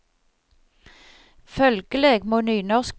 Følgeleg må nynorskbruk vere ei sak for nynorskbrukarar.